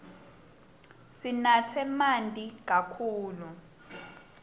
sinatse manti kakhulu